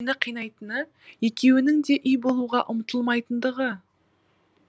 мені қинайтыны екеуінің де үй болуға ұмтылмайтындығы